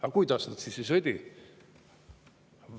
Aga kuidas nad siis ei sõdi?